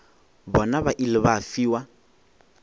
bona ba ile ba fiwa